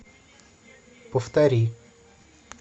повтори